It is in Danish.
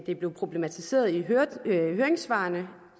det blev problematiseret i høringssvarene